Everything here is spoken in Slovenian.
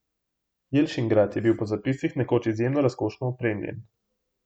Jelšingrad je bil po zapisih nekoč izjemno razkošno opremljen.